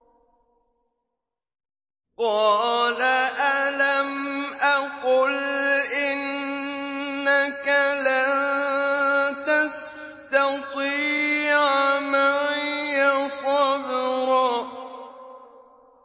قَالَ أَلَمْ أَقُلْ إِنَّكَ لَن تَسْتَطِيعَ مَعِيَ صَبْرًا